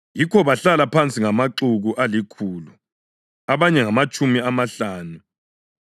Yikho bahlala phansi ngamaxuku alikhulu. Abanye ngamatshumi amahlanu.